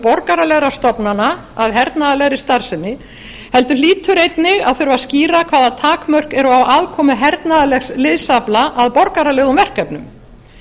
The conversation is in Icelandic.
borgaralegra stofnana að hernaðarlegri starfsemi heldur hlýtur einnig að þurfa að skýra hvaða takmörk eru á aðkomu hernaðarlegs liðsafla að borgaralegum verkefnum